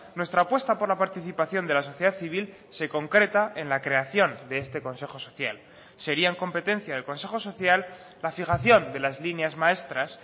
nuestra apuesta por la participación de la sociedad civil se concreta en la creación de este consejo social serían competencia del consejo social la fijación de las líneas maestras